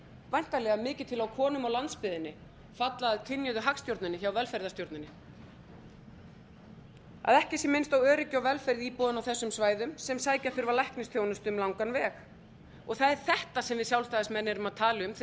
væntanlega mikið til á konum á landsbyggðinni falla að kynjuðu hagstjórninni hjá velferðarstjórninni að ekki sé minnst á öryggi og velferð íbúanna á þessum svæðum sem sækja þurfa læknisþjónustu um langan veg það er þetta sem við sjálfstæðismenn erum að tala um þegar við segjum